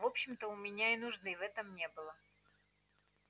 в общем-то у меня и нужды в этом не было